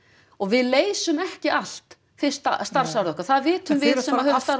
og við leysum ekki allt fyrsta starfsárið okkar það vitum við sem höfum starfað